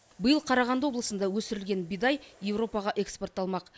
биыл қарағанды облысында өсірілген бидай европаға экспортталмақ